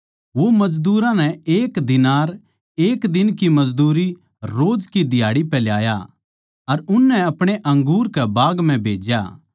वो मजदूरां नै एक दीनार एक दिन की मजदूरी रोज की दिहाड़ी पै लाया अर उननै अपणे अंगूर के बाग म्ह भेज्या